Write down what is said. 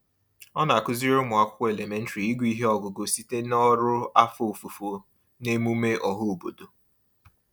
Ọ na-akụziri ụmụakwụkwọ elementrị ịgụ ihe ọgụgụ site n'ọrụ afọ ofufo n'emume ọhaobodo.